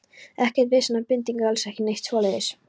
Ekkert vesen eða bindingu, alls ekki neitt svoleiðis.